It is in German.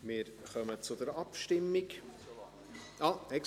Wir kommen zur Abstimmung ...